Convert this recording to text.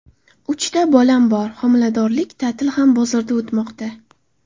Uchta bolam bor, homiladorlik ta’tili ham bozorda o‘tmoqda.